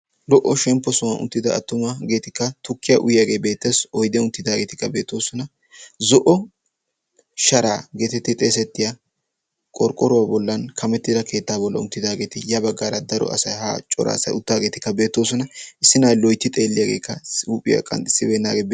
Lo"o shemppo sohuwaan uttida attuma geetikka tukkiya uyyaagee beetassi oide unttidaageetikkabeetoosona zo'o sharaa geeti ti xeesettiya qorqqoruwaa bollan kamettida keettaa bolla uttidaageeti ya baggaara daro asai ha cora asai uttaageetikka beettoosona issi na'ay loitti xeelliyaageekkasi huuphiyaa qanxxissibeennaagee.